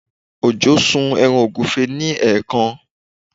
Ojo sun ẹran ọ̀gúfe ni ẹ̀ẹ̀kan